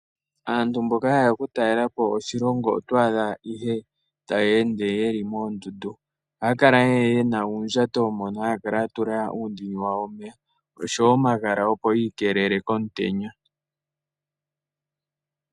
Aantu mboka hayeya oku talelapo oshilongo oto adha ihe tayende yeli mondundu ohakala yena uundjato mono hakala yatula uundini wawo womeya osho wo omahala opo yikelele komutenya.